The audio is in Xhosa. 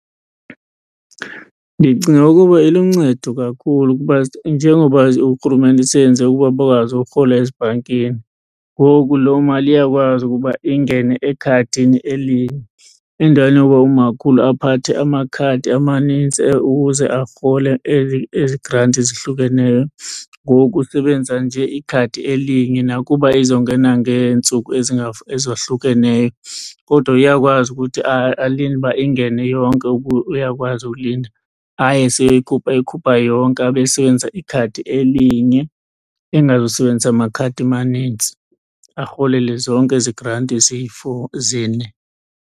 Ndicinga ukuba iluncedo kakhulu kuba njengoba urhulumente seyenze ukuba bakwazi ukurhola ezibhankini, ngoku loo mali iyakwazi ukuba ingene ekhadini elinye endaweni yoba umakhulu aphathe amakhadi amanintsi ukuze arhole ezi granti zihlukeneyo. Ngoku usebenzisa nje ikhadi elinye nakuba izongena ngeentsuku ezohlukeneyo. Kodwa uyakwazi ukuthi alinde uba ingene yonke uyakwazi ulinda, aye eyikhupha yonke abe esebenzisa ikhadi elinye engazusebenzisa makhadi manintsi arholele zonke ezi granti ziyi-four, zine.